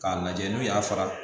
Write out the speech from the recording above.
K'a lajɛ n'u y'a fara